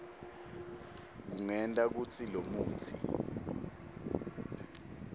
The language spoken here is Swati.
kungenta kutsi lomutsi